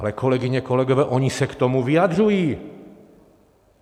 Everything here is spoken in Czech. Ale kolegyně, kolegové, oni se k tomu vyjadřují.